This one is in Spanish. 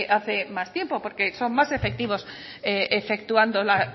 hacen más tiempo porque son más efectivos efectuando